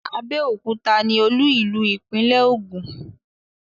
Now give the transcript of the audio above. Abẹ́òkúta ni olú ìlú ìpínlẹ̀ Ògùn.